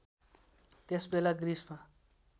त्यस बेला ग्रिसमा